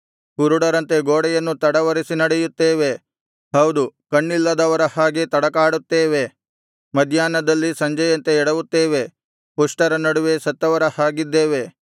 ಕುರುಡರಂತೆ ಗೋಡೆಯನ್ನು ತಡವರಿಸಿ ನಡೆಯುತ್ತೇವೆ ಹೌದು ಕಣ್ಣಿಲ್ಲದವರ ಹಾಗೆ ತಡಕಾಡುತ್ತೇವೆ ಮಧ್ಯಾಹ್ನದಲ್ಲಿ ಸಂಜೆಯಂತೆ ಎಡವುತ್ತೇವೆ ಪುಷ್ಟರ ನಡುವೆ ಸತ್ತವರ ಹಾಗಿದ್ದೇವೆ